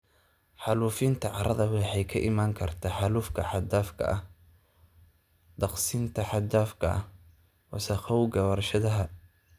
Xaalufinta carrada waxay ka iman kartaa xaalufka xad dhaafka ah, daaqsinta xad dhaafka ah, wasakhowga warshadaha.